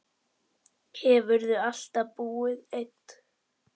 Hefurðu alltaf búið einn?